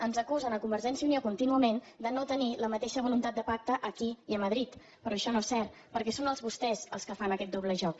ens acusen a convergència i unió contínuament de no tenir la mateixa voluntat de pacte aquí i a madrid però això no és cert perquè són vostès els que fan aquest doble joc